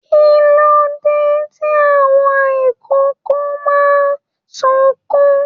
Kilode tí àwọn ikòkò máa n sunkún?